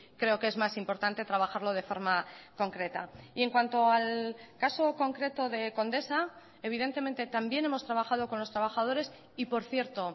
creo que es más importante trabajarlo de forma concreta y en cuanto al caso concreto de condesa evidentemente también hemos trabajado con los trabajadores y por cierto